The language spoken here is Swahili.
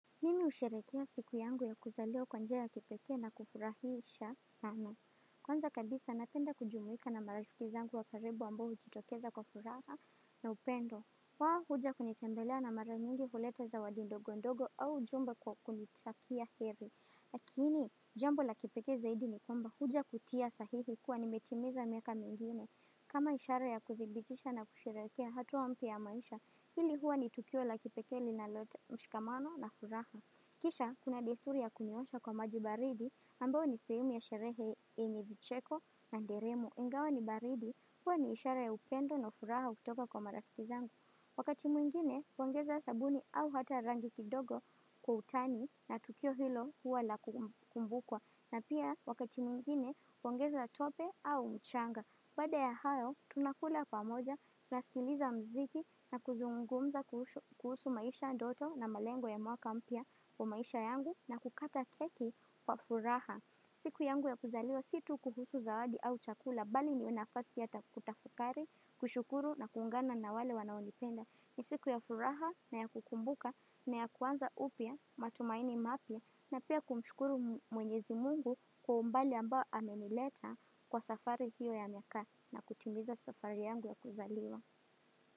Mimi husherehekea siku yangu ya kuzaliwa kwa njia ya kipekee na kufurahisha sana. Kwanza kabisa napenda kujumuika na marafiki zangu wa karibu ambao hujitokeza kwa furaha na upendo. Wao huja kunitembelea na mara nyingi huleta zawadi ndogo ndogo au jumbe kwa kunitakia heri. Lakini, jambo la kipekee zaidi ni kwamba huja kutia sahihi kuwa nimetimiza miaka mingine. Kama ishara ya kuthibitisha na kusherekea hatua mpya ya maisha, hili huwa ni tukio la kipekee linalo mshikamano na furaha. Kisha, kuna desturi ya kuniosha kwa maji baridi, ambayo ni sehemu ya sherehe yenye vicheko na nderemo Ingawa ni baridi, huwa ni ishara upendo na furaha kutoka kwa mararafiki zangu. Wakati mwingine, pongeza sabuni au hata rangi kidogo kwa utani na tukio hilo huwa la kukubukwa na pia, wakati mwingine, pongeza tope au mchanga. Baada ya hayo, tunakula pamoja, tunasikiliza mziki na kuzungumza kuhusu maisha ndoto na malengo ya mwaka mpya kwa maisha yangu na kukata keki kwa furaha. Siku yangu ya kuzaliwa si tu kuhusu zawadi au chakula mbali ni nafasi ya kutafakari, kushukuru na kuungana na wale wanaonipenda. Ni siku ya furaha na ya kukumbuka na ya kuanza upya matumaini mapya na pia kumshukuru mwenyezi mungu kwa umbali ambao amenileta kwa safari hiyo ya miaka na kutimiza safari yangu ya kuzaliwa.